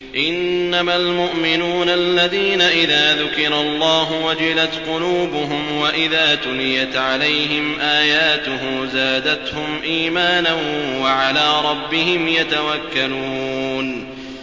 إِنَّمَا الْمُؤْمِنُونَ الَّذِينَ إِذَا ذُكِرَ اللَّهُ وَجِلَتْ قُلُوبُهُمْ وَإِذَا تُلِيَتْ عَلَيْهِمْ آيَاتُهُ زَادَتْهُمْ إِيمَانًا وَعَلَىٰ رَبِّهِمْ يَتَوَكَّلُونَ